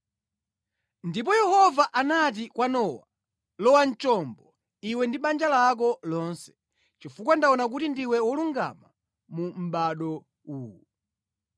Ndipo Yehova anati kwa Nowa, “Lowa mu chombo iwe ndi banja lako lonse, chifukwa ndaona kuti ndiwe wolungama mu mʼbado uwu.